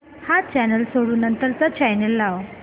हा चॅनल सोडून नंतर चा चॅनल लाव